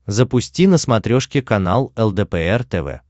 запусти на смотрешке канал лдпр тв